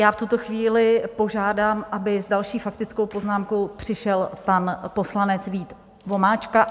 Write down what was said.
Já v tuto chvíli požádám, aby s další faktickou poznámkou přišel pan poslanec Vít Vomáčka.